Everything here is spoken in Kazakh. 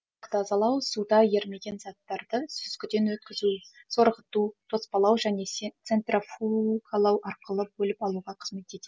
тазалау суда ерімеген заттарды сүзгіден өткізу сорғыту тоспалау жөне цен центрофугалау аркылы бөліп алуға қызмет етеді